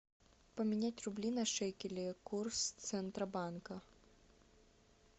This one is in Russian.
поменять рубли на шекели курс центробанка